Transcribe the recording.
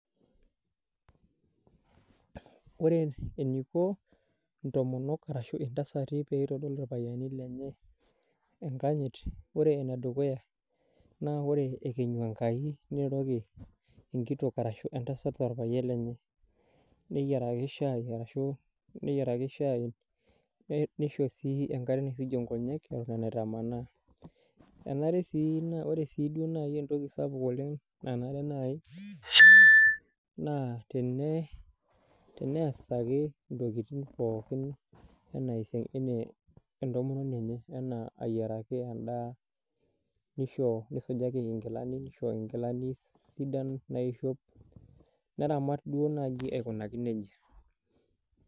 Ore eniko intomonok arashu intasati peitodol irpayiani lenye enkanyit ore enedukuya naa ore ekenyu Enkai niroroki enkitok arashu entasat orpayian lenye neyiaraki shai arashu neyiaraki shai nei neisho sii enkare naisujie inkonyek eton enaitamanaa enare sii naa ore sii duo naai entoki sapuk oleng nanare naai naa tene teneasaki intokiting pookin enaa esia enaa entomononi enye enaa ayiaraki endaa nisho nisujaki inkilani nisho inkilani sidan naishop neramat duo naaji aikunaki nejia.